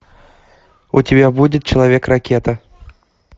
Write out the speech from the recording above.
у тебя будет человек ракета